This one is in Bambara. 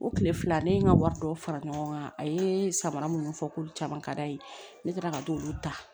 O tile fila ne ye n ka wari dɔw fara ɲɔgɔn kan a ye samara minnu fɔ k'olu caman ka d'a ye ne taara ka t'olu ta